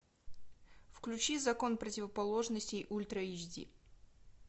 включи закон противоположностей ультра эйч ди